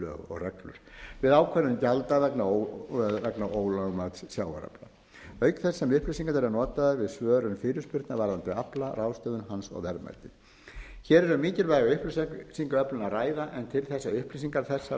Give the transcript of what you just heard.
og reglur við ákvörðun gjalda vegna ólögmæts sjávarafla auk þess sem upplýsingarnar eru notaðar við svörun fyrirspurna varðandi afla ráðstöfun hans og verðmæti hér er um mikilvæga upplýsingaöflun að ræða en til þess að upplýsingar þessar